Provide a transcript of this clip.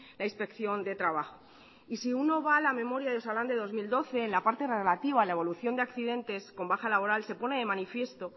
la inspección de trabajo si uno va a la memoria de osalan de dos mil doce en la parte relativa a la evolución de accidentes con baja laboral se pone de manifiesto